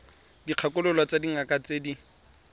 dikgakololo tsa dingaka tse di